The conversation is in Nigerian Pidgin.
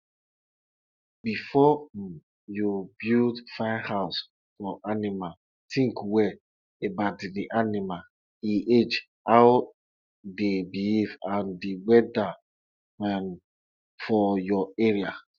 afta thanksgiving for sacrifice don end na so that elder compound go dey smell of goat meat wey them don roast.